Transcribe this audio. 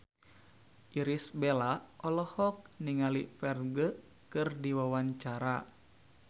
Irish Bella olohok ningali Ferdge keur diwawancara